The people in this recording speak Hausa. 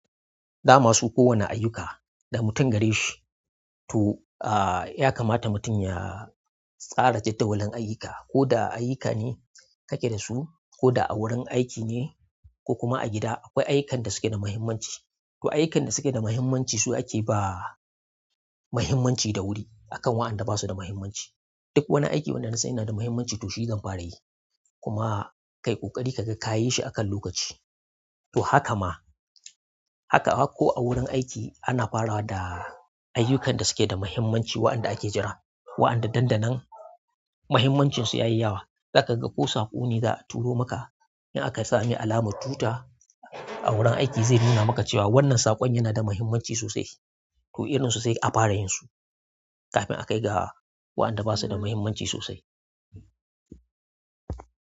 Da ma su kowane ayyuka da mutum gare shi. To, ah, ya kamata mutum ya tsara jadawalin ayyuka. Ko da ayyuka ne kake da su, ko da a wurin aiki ne, ko kuma a gida, akwai ayyukan da suke da muhimmanci. To ayyukan da suke da muhimmanci su ake ba muhimmanci da wuri akan wa'andan ba su da muhimmanci. Duk wani aiki wanda na san yana da muhimmanci to shi zan fara yi. Kuma ka yi ƙoƙari ka ga ka yi shi akan lokaci. To haka ma, haka, ko a wurin aiki ana fara da ayyukan da suke da muhimmanci wa'anda ake jira. Wa'andan dandanan muhimmancin su ya yi yawa. Za ka ga ko saƙo ne za a turo maka. In aka sa ame alamar tuta a wurin aiki zai nuna maka cewa wannan saƙon yana da muhimmanci sosai. To irin su sai a fara yin su kafin a kai ga wa'anda ba su da muhimmanci sosai.